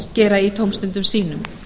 gera í tómstundum sínum